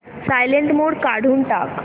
silent mode काढून टाक